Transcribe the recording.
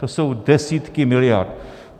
To jsou desítky miliard.